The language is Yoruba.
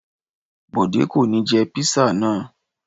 Bọ̀dé kò ní jẹ písà náà.